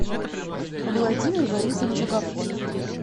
владимир борисович агафонов